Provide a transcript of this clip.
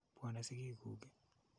Pwone sigiik kuk ii?